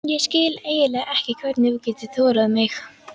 Ég skil eiginlega ekki hvernig þú getur þolað mig.